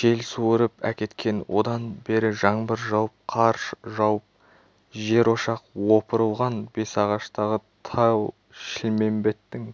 жел суырып әкеткен одан бері жаңбыр жауып қар жауып жерошақ опырылған бесағаштағы тау-шілмембеттің